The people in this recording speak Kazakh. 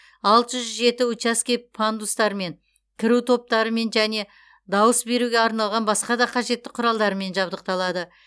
алты жүз жеті учаске пандустармен кіру топтарымен және дауыс беруге арналған басқа да қажетті құралдарымен жабдықталады